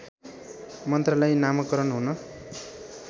मन्त्रालय नामाकरण हुन